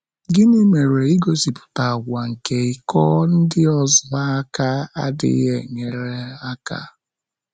Gịnị mere igosipụta àgwà nke ịkọ ndị ọzọ aka adịghị enyere aka?